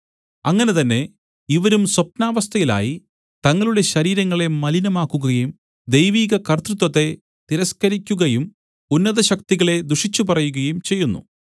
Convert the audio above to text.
അങ്ങനെ തന്നെ ഇവരും സ്വപ്നാവസ്ഥയിലായി തങ്ങളുടെ ശരീരങ്ങളെ മലിനമാക്കുകയും ദൈവീകകര്‍ത്തൃത്വത്തെ തിരസ്കരിക്കുകയും ഉന്നതശക്തികളെ ദുഷിച്ചുപറയുകയും ചെയ്യുന്നു